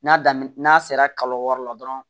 N'a daminɛ n'a sera kalo wɔɔrɔ la dɔrɔn